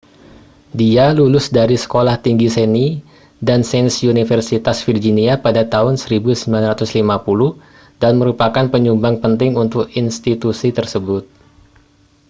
dia lulus dari sekolah tinggi seni dan sains universitas virginia pada tahun 1950 dan merupakan penyumbang penting untuk institusi tersebut